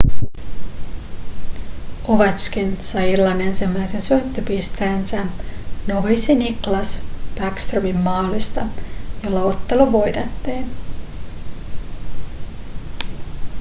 ovetškin sai illan ensimmäisen syöttöpisteensä noviisi nicklas bäckströmin maalista jolla ottelu voitettiin